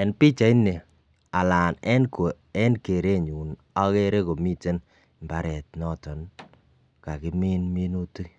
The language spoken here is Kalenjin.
En pichaini alan en kerenyun okere komiten imbaret noton kakimin minutik